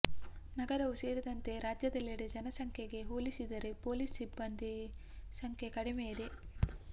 ನಗರವು ಸೇರಿದಂತೆ ರಾಜ್ಯದೆಲ್ಲೆಡೆ ಜನಸಂಖ್ಯೆಗೆ ಹೋಲಿಸಿದರೆ ಪೊಲೀಸ್ ಸಿಬ್ಬಂದಿ ಸಂಖ್ಯೆ ಕಡಿಮೆ ಇದೆ